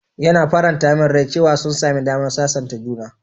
Yana faranta min rai cewa sun sami damar sasanta juna.